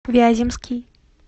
вяземский